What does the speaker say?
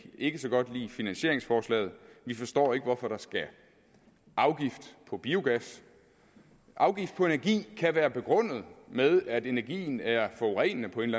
ikke så godt lide finansieringsforslaget vi forstår ikke hvorfor der skal afgift på biogas afgift på energi kan være begrundet med at energien er forurenende på en